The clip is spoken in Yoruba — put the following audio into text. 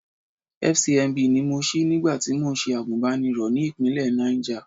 FCMB ni mo ṣí nígbà tí mò ń ṣe àgùnbánirọ̀ ní ìpínlẹ̀ Náìjà.